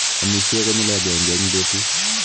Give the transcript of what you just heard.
Amishe konyil agenge eng betut.